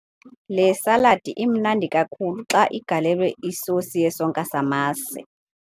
Le saladi imnandi kakhulu xa igalelwe isosi yesonka samasi.